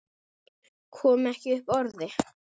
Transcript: Kom ekki upp orði.